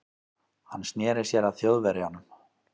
Hann sneri sér að Þjóðverjanum.